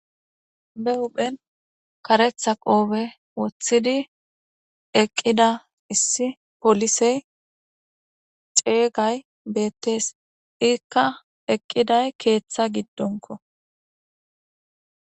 be huphen karetha qoobe woththidi eqqida issi polisey ceygay beettees iikka eqqiday keeththa giddonko